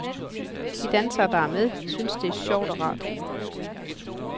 De dansere, der er med, synes det er sjovt og rart.